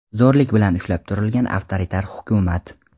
zo‘rlik bilan ushlab turilgan avtoritar hukumat.